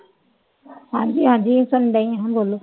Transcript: ਹਾਂਜੀ ਹਾਂਜੀ ਸੁਣ ਡਈ ਹਾਂ ਬੋਲੋ।